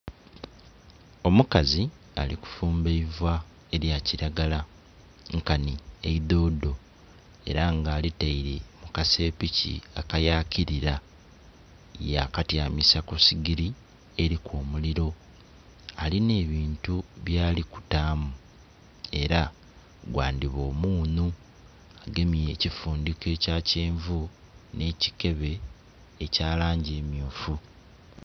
Omukazi ali kufumba eivaa elya kilagala nkanhi eidhodho era nga ali taire mu kasepiki akayakilila ya katyamisa ku sigili eliku omuliro, alinha ebintu byali kutaamu era gwandhiba omunhu, agemye ekifundhiko ekya kyenvu nhe kikebe ekya langi emyufu.